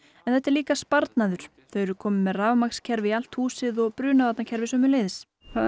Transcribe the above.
þetta er líka sparnaður þau eru komin með rafmagnskerfi í allt húsið og brunavarnarkerfi sömuleiðis